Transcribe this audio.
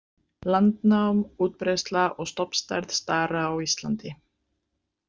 „Landnám, útbreiðsla og stofnstærð stara á Íslandi.“